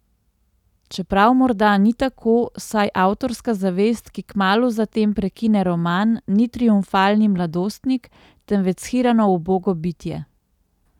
Čeprav morda ni tako, saj avtorska zavest, ki kmalu za tem prekine roman, ni triumfalni mladostnik, temveč shirano, ubogo bitje.